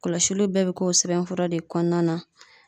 Kɔlɔsiliw bɛɛ bɛ k'o sɛbɛnfura de kɔɔna na